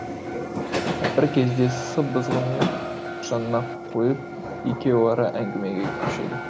бір кезде сы бызғысын жанына қойып екеуара әңгімеге көшеді